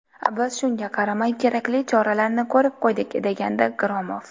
Biz shunga qaramay kerakli choralarni ko‘rib qo‘ydik”, degandi Gromov.